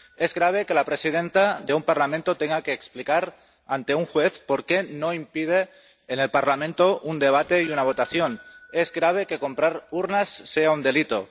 Es grave que la presidenta de un Parlamento tenga que explicar ante un juez por qué no impide en el Parlamento un debate y una votación es grave que comprar urnas sea un delito